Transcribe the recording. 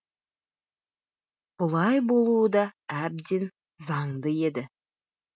бұлай болуы да әбден заңды еді